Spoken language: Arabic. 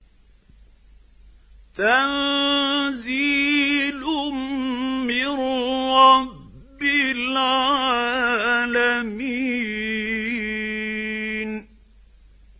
تَنزِيلٌ مِّن رَّبِّ الْعَالَمِينَ